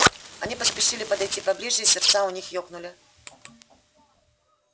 они поспешили подойти ближе и сердца у них ёкнули